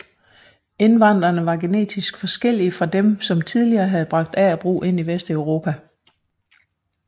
Indvandrerne var genetisk forskellige fra dem som tidligere havde bragt agerbrug ind i vesteuropa